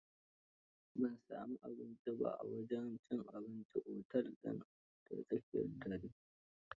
Ban sami abinci ba, a wajen cin abincin otel din da tsakar dare.